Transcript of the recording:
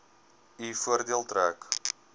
u voordeel trek